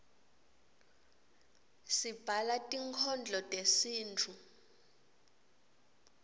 sibhala tinkhondlo tesintfu